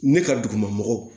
Ne ka dugumamɔgɔ